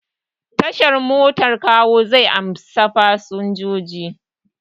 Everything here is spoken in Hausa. Tashar motar Kawo zai amshi fasinjoji.